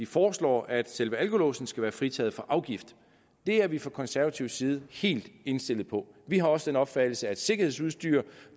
foreslår at selve alkolåsen skal være fritaget for afgift det er vi fra konservativ side helt indstillet på vi har også den opfattelse at sikkerhedsudstyr